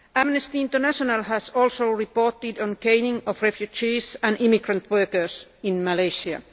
Amnesty International has also reported on the caning of refugees and immigrant workers in Malaysia.